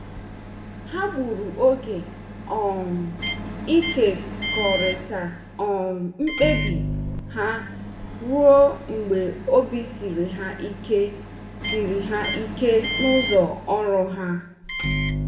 Ha gburu oge um ịkekọrịta um mkpebi ha ruo mgbe obi siri ha ike siri ha ike n'ụzọ ọrụ ha.